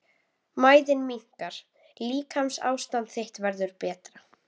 Mæðin minnkar- líkamsástand þitt verður betra.